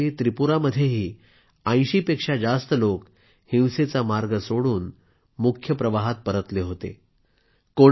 गेल्या वर्षी त्रिपुरामध्येही 80 पेक्षा जास्त लोक हिंसेचा मार्ग सोडून मुख्यधारेत परतले होते